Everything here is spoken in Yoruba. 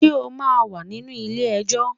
Ṣé o máa wà nínú ilé ẹjọ́?